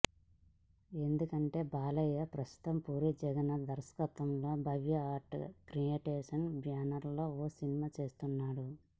ఎందుకంటే బాలయ్య ప్రస్తుతం పూరీ జగన్నాథ్ దర్శకత్వంలో భవ్య ఆర్ట్ క్రియేషన్ బ్యానర్లో ఓ సినిమా చేస్తున్నాడు